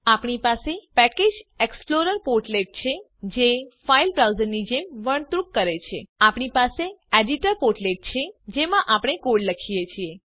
આપણી પાસે package explorer portlet છે જે ફાઈલ બ્રાઉઝરની જેમ વર્તણુક કરે છે આપણી પાસે એડીટર પોર્ટલેટ છે જેમાં આપણે કોડ લખીએ છીએ